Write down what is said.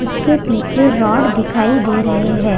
उसके पीछे रॉड दिखाई दे रहे हैं।